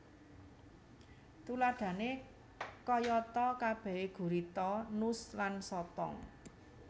Tuladhané kayatakabehé gurita nus lan sotong